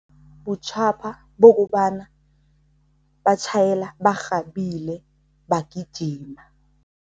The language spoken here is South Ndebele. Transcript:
Butjhapha bokobana batjhayela barhabile, bagijima.